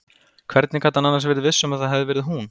Hvernig gat hann annars verið viss um að það hefði verið hún?